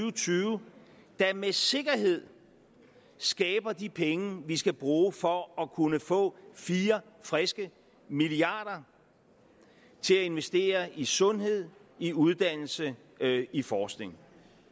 og tyve der med sikkerhed skaber de penge vi skal bruge for at kunne få fire friske milliarder til at investere i sundhed i uddannelse i forskning